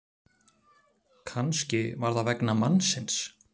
Kannski var það vegna mannsins.